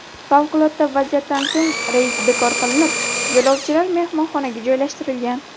Favqulodda vaziyatdan so‘ng reys bekor qilinib, yo‘lovchilar mehmonxonaga joylashtirilgan.